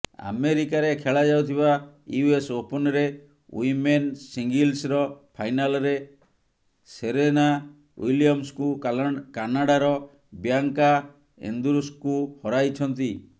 ଆମେରିକାରେ ଖେଳାଯାଉଥିବା ୟୁଏସ ଓପନରେ ୱିମେନ ସିଙ୍ଗଲ୍ସର ଫାଇନାଲରେ ସେରେନା ୱିଲିଅମ୍ସଙ୍କୁ କାନାଡାର ବିୟାଙ୍କା ଏନ୍ଦ୍ରୁସ୍କୁ ହରାଇଛନ୍ତି